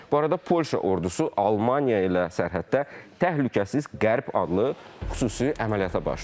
Bu arada Polşa ordusu Almaniya ilə sərhəddə təhlükəsiz Qərb adlı xüsusi əməliyyata başlayıb.